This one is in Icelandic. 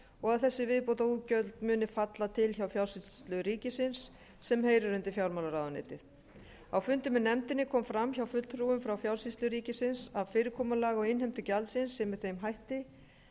að þessi viðbótarútgjöld muni falla til hjá fjársýslu ríkisins sem heyrir undir fjármálaráðuneytið á fundi með nefndinni kom fram hjá fulltrúum frá fjársýslu ríkisins að fyrirkomulag á innheimtu gjaldsins sé með þeim hætti